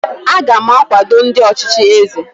aga m akwado ndị ọchịchị eze